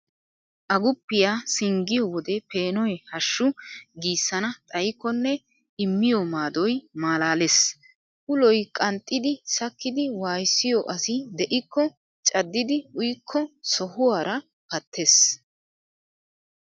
Aguppiya singgiyo wodee peenoy hashshu giissana xayikkonne immiyo maadoy maalaalees. Uloy qanxxidi sakkidi waayissiyo asi de'ikko caddidi uyikko sohuwara pattees.